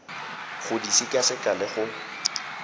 go di sekaseka le go